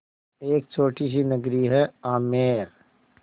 एक छोटी सी नगरी है आमेर